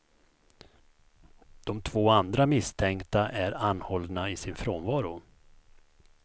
De två andra misstänkta är anhållna i sin frånvaro.